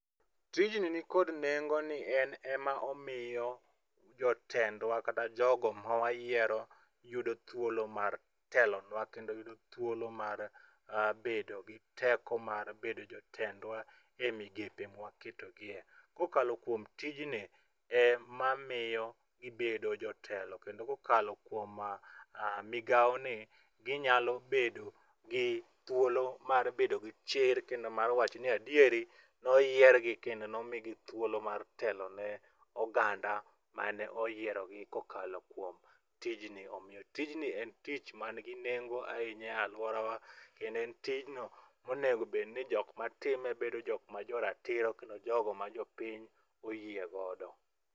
Tijni nikod nengo ni en ema omiyo jotendwa kata jogo mawayiero yudo thuolo mar telonwa kendo yudo thuolo mar bedo gi teko mar bedo jotendwa e migepe mwa keto gie. Kokalo kuom tijni, emamiyo gibedo jotelo kendo kokalo kuom migawoni, ginyalo bedo gi thuolo mar bedo gi chir kendo mar wacho ni adieri, noyiergi kendo nomigi thuolo mar telo ne oganda mane oyierogi, kokalo kuom tijni, omiyo tijni en tich manigi nengo ahinya e alworawa kendo en tijno monego obedni jok matime bedo jok ma joratiro kendo jogo ma jopiny oyie godo.